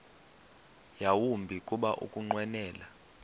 yawumbi kuba ukunqwenela